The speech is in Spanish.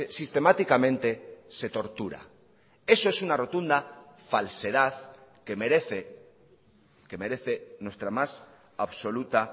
sistemáticamente se tortura eso es una rotunda falsedad que merece que merece nuestra más absoluta